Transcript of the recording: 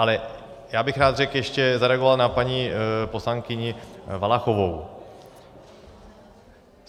Ale já bych rád řekl ještě, zareagoval na paní poslankyni Valachovou.